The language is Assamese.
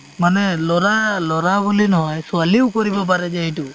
মানে ল'ৰা~ ল'ৰা বুলি নহয় ছোৱালিও কৰিব পাৰে যে এইটো